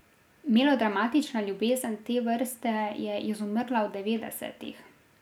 Melodramatična ljubezen te vrste je izumrla v devetdesetih.